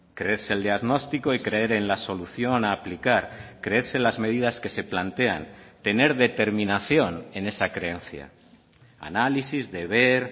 creerse el diagnóstico y creer en la solución a aplicar creerse las medidas que se plantean tener determinación en esa creencia análisis deber